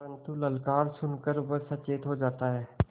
परन्तु ललकार सुन कर वह सचेत हो जाता है